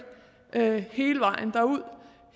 det